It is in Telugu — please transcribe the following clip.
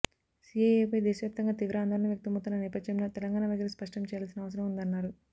సీఏఏపై దేశవ్యాప్తంగా తీవ్ర ఆందోళనలు వ్యక్తమవుతున్న నేపథ్యంలో తెలంగాణ వైఖరి స్పష్టం చేయాల్సిన అవసరం ఉందన్నారు